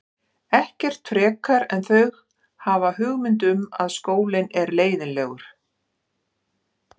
Ekkert frekar en þau hafa hugmynd um að skólinn er leiðinlegur.